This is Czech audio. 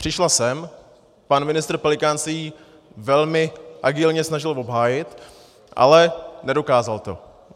Přišla sem, pan ministr Pelikán se ji velmi agilně snažil obhájit, ale nedokázal to.